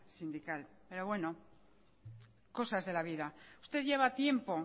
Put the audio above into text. sindical pero bueno cosas de la vida usted lleva tiempo